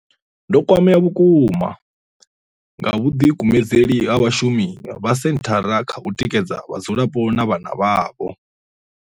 Ndo kwamea vhukuma nga vhuḓikumedzeli ha vhashumi vha senthara kha u tikedza vhadzulapo na vhana vhavho.